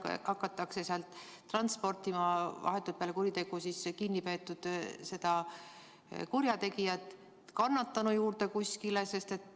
Kas ehk hakatakse vahetult peale kuritegu kinni peetud kurjategijat kannatanu juurde kuskile transportima?